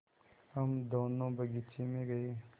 हम दोनो बगीचे मे गये